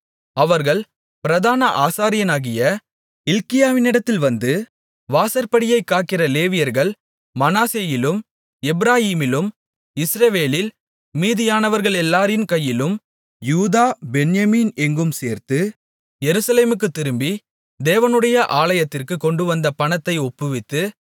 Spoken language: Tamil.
அவர்கள் பிரதான ஆசாரியனாகிய இல்க்கியாவினிடத்தில் வந்து வாசற்படியைக் காக்கிற லேவியர்கள் மனாசேயிலும் எப்பிராயீமிலும் இஸ்ரவேலில் மீதியானவர்களெல்லாரின் கையிலும் யூதா பென்யமீன் எங்கும் சேர்த்து எருசலேமுக்குத் திரும்பி தேவனுடைய ஆலயத்திற்குக் கொண்டுவந்த பணத்தை ஒப்புவித்து